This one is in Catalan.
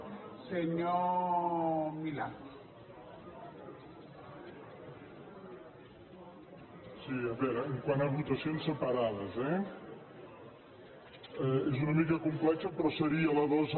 sí a veure quant a votacions separades eh és una mica complex però seria la dos